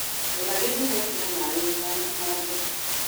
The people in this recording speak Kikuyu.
Rora gĩthimo kĩa maĩ ũtanahanda.